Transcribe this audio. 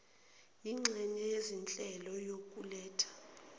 yinxenye yezinhlelo yokuletha